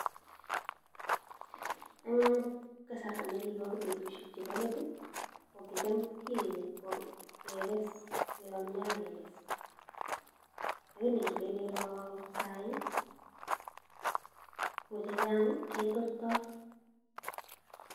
Eng kasarta nekibo betusiek chebo let, ko kicham kigenyi ipko keges, kuonyo ak keges. Lakini ngilen iro sai, ko chechang ketortoi.